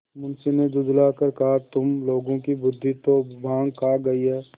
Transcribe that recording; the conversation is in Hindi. मुंशी ने झुँझला कर कहातुम लोगों की बुद्वि तो भॉँग खा गयी है